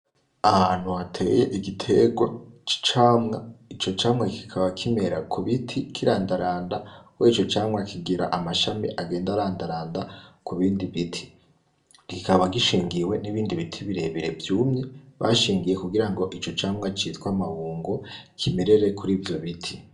Ahantu hateye igitegwa c'icamwa ico camwa kikaba kimera kubiti kirandaranda kubera ico camwa kigira amashami agenda arandaranda kubindi biti kikaba gishingiwe n'ibindi biti birebire vyumye bashingiye kugirango icocamwa citwa amabungo kimerere kurivyobiti.